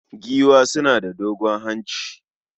Giwa suna da dogon hanci